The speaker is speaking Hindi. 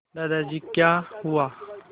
दादाजी क्या हुआ